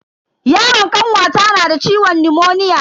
Yaron kanwata nada ciwon nimoniya.